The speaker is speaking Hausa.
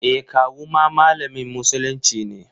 E, kawu ma malamin musulunci ne.